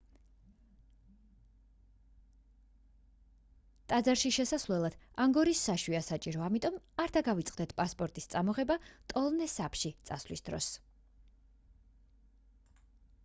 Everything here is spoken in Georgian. ტაძარში შესასვლელად ანგკორის საშვია საჭირო ამიტომ არ დაგავიწყდეთ პასპორტის წამოღება ტონლე საპში წავლის დროს